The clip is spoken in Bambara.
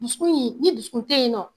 Dusukun ye ni dusukun te yen nɔ